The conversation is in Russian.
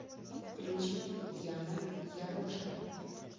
включи яна яроша